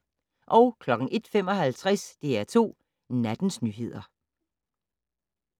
01:55: DR2 Nattens nyheder